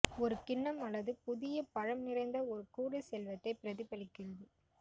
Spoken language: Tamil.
ஒரு கிண்ணம் அல்லது புதிய பழம் நிறைந்த ஒரு கூடை செல்வத்தை பிரதிபலிக்கிறது